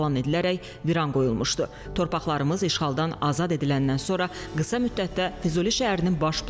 Baş plana əsasən uşaq bağçaları və məktəblər kimi sosial infrastruktur obyektləri müvafiq olaraq 300 və 500 metrlik məsafədə yerləşəcək.